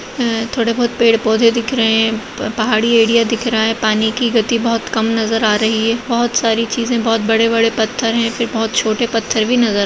ए-थोड़े बहोत पेड़-पौधे दिख रहे हैं प-पहाड़ी एरिया दिख रहा है पानी की गति बहोत कम नजर आ रही है बहोत सारी चीज़े बहोत बड़े-बड़े पत्थर हैं फिर बहोत छोटे पत्थर भी नजर--